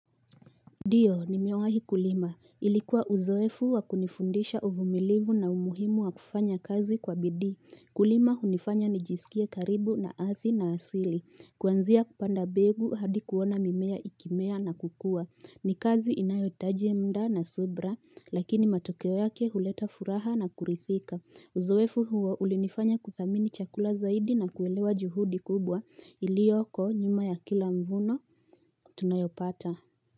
Ndio nimewahi kulima ilikuwa uzoefu wakunifundisha uvumilivu na umuhimu wakufanya kazi kwa bidii kulima hunifanya nijisikie karibu na ardhi na asili kuanzia kupanda mbegu hadi kuona mimea ikimea na kukua ni kazi I nayohitaji mda na subra lakini matokeo yake huleta furaha na kurithika uzoefu huo ulinifanya kuthamini chakula zaidi na kuelewa juhudi kubwa iliyoko nyuma ya kila mvuno tunayopata.